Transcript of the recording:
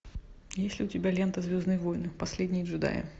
есть ли у тебя лента звездные войны последние джедаи